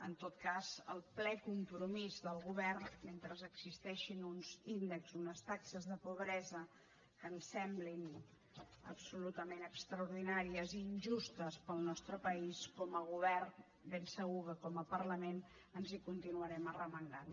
en tot cas el ple compromís del govern mentre existeixin uns índexs unes taxes de pobresa que ens semblin absolutament extraordinàries i injustes per al nostre país com a govern ben segur que com a parlament ens hi continuarem arromangant